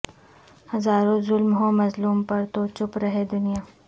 ہزا روں ظلم ہوں مظلوم پر تو چپ رہے دنیا